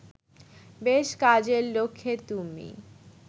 বেশ কাজের লোক হে তুমি